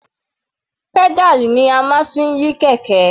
Pedal ni a fi máa ń yí kẹ̀kẹ́.